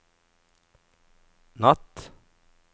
natt